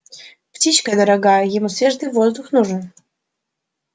птичка дорогая ему свежий воздух нужен